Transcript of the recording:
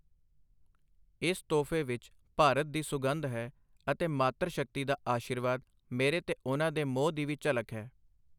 ਇਸ ਤੋਹਫ਼ੇ ਵਿੱਚ ਭਾਰਤ ਦੀ ਸੁਗੰਧ ਹੈ ਅਤੇ ਮਾਤਰ ਸ਼ਕਤੀ ਦਾ ਅਸ਼ੀਰਵਾਦ, ਮੇਰੇ ਤੇ ਉਨ੍ਹਾਂ ਦੇ ਮੋਹ ਦੀ ਵੀ ਝਲਕ ਹੈ।